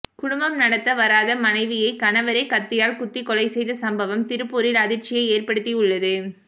குடும்பம் நடத்த வராத மனைவியை கணவரே கத்தியால் குத்திக் கொலை செய்த சம்பவம் திருப்பூரில் அதிர்ச்சியை ஏற்படுத்தி உள்ளது